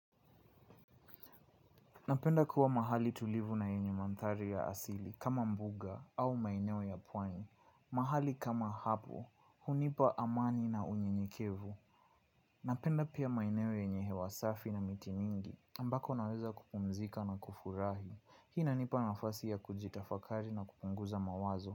Napenda kuwa mahali tulivu na yenye mandhari ya asili kama mbuga au maeneo ya pwani mahali kama hapo, hunipa amani na unyenyekevu. Napenda pia maineo yenye hewasafi na miti ningi ambako naweza kupumzika na kufurahi. Hii inanipa nafasi ya kujitafakari na kupunguza mawazo.